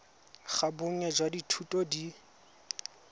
ga bonnye jwa dithuto di